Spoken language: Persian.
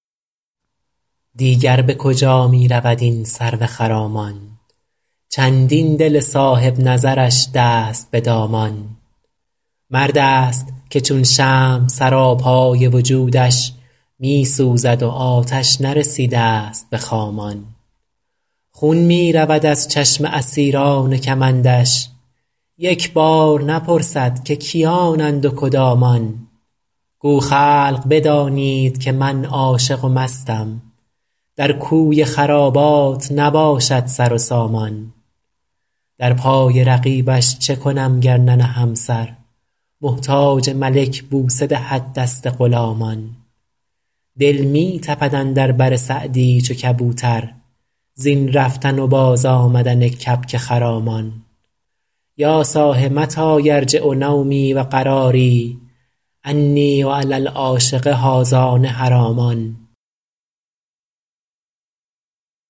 دیگر به کجا می رود این سرو خرامان چندین دل صاحب نظرش دست به دامان مرد است که چون شمع سراپای وجودش می سوزد و آتش نرسیده ست به خامان خون می رود از چشم اسیران کمندش یک بار نپرسد که کیانند و کدامان گو خلق بدانید که من عاشق و مستم در کوی خرابات نباشد سر و سامان در پای رقیبش چه کنم گر ننهم سر محتاج ملک بوسه دهد دست غلامان دل می تپد اندر بر سعدی چو کبوتر زین رفتن و بازآمدن کبک خرامان یا صاح متی یرجع نومی و قراری انی و علی العاشق هذان حرامان